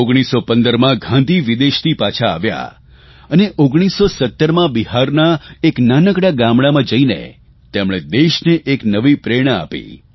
1915માં ગાંધી વિદેશથી પાછા આવ્યા અને 1917માં બિહારના એક નાનકડા ગામડામાં જઇને તેમણે દેશને એક નવી પ્રેરણા આપી